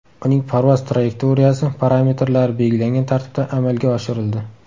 Uning parvoz trayektoriyasi parametrlari belgilangan tartibda amalga oshirildi.